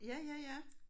Ja ja ja